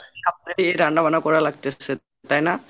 রান্নাবান্না করা লাগতেছে তাই না?